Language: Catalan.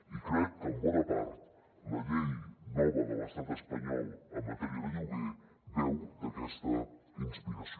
i crec que en bona part la llei nova de l’estat espanyol en matèria de lloguer beu d’aquesta inspiració